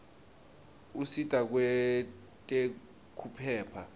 usita kwetekuphepha